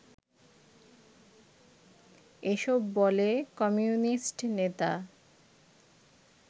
এসব বলে কমিউনিস্ট নেতা